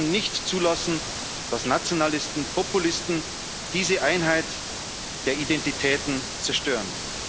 Wir dürfen nicht zulassen, dass Nationalisten und Populisten diese Einheit der Identitäten zerstören.